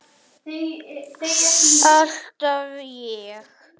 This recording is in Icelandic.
Alltaf ég.